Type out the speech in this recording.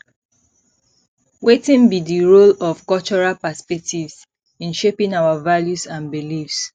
wetin be di role of cultural perspectives in shaping our values and beliefs